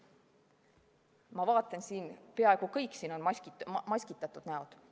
Ma vaatan, peaaegu kõik siin on maskitatud näod.